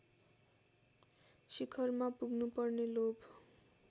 शिखरमा पुग्नुपर्ने लोभ